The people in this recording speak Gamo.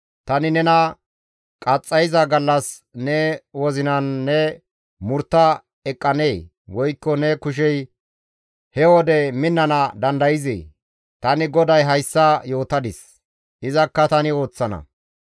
Tani nena qaxxayiza gallas ne wozinan ne murtta eqqanee? Woykko ne kushey he wode minnana dandayzee? Tani GODAY hayssa yootadis; izakka tani ooththana.